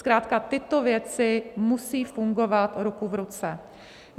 Zkrátka tyto věci musí fungovat ruku v ruce.